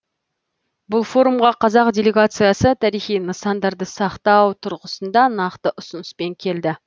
бұл форумға қазақ делегациясы тарихи нысандарды сақтау тұрғысында нақты ұсыныспен келді